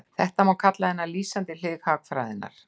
Þetta má kalla hina lýsandi hlið hagfræðinnar.